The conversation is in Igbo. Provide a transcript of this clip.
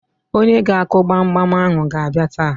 Onye ga-akụ gbamgbam ahụ ga-abịa taa.